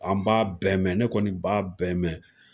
An b'a bɛɛ mɛn, ne kɔni b'a bɛɛ mɛn.